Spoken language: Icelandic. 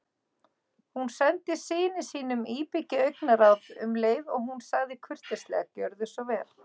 Hún sendi syni sínum íbyggið augnaráð um leið og hún sagði kurteislega: Gjörðu svo vel